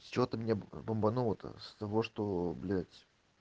с чего-то меня бомбануло то с того что блять